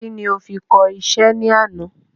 Kí ni o fi kọ isẹ́ ní àná